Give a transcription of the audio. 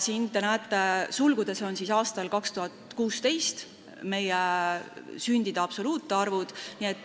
Siin on sündide absoluutarvud aastal 2016.